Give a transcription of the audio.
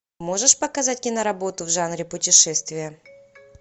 можешь показать киноработу в жанре путешествия